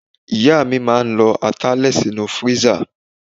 Ìyá mi máa ń lọ ata lè sínú freezer.